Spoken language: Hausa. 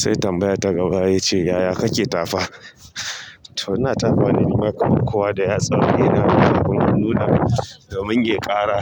Sai tambaya ta gaba yace, yaya kake tafa? To ina tafawa ne nima kaman kowa da yatsa, ina kuma nuna domin yayi ƙara